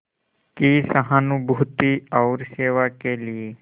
की सहानुभूति और सेवा के लिए